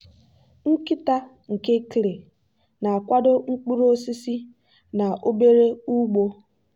nkịta nke clay na-akwado mkpuru osisi na obere ugbo.